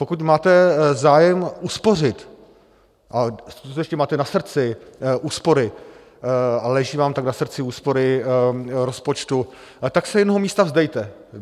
Pokud máte zájem uspořit a skutečně máte na srdci úspory a leží vám tak na srdci úspory rozpočtu, tak se jednoho místa vzdejte.